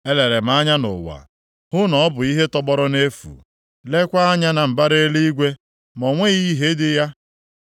Elere m anya nʼụwa hụ na ọ bụ ihe tọgbọrọ nʼefu, leekwa anya na mbara eluigwe, ma o nweghị ìhè dị ya.